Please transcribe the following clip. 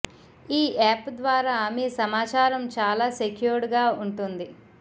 ఈ యాప్ ద్వారా మీ సమాచారం చాలా సెక్యూర్డ్ గా ఉంటుంది